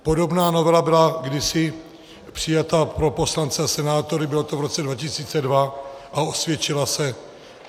Podobná novela byla kdysi přijata pro poslance a senátory, bylo to v roce 2002, a osvědčila se.